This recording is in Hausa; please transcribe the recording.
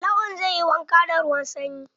Lawan zai yi wanka da ruwan sanyi.